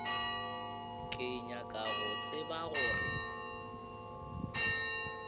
ke nyaka go tseba gore